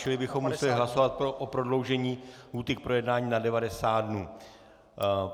Čili bychom museli hlasovat o prodloužení lhůty k projednání na 90 dnů.